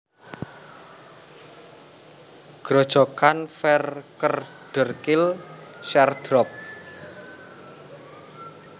Grojogan VerKeerderkill sheer drop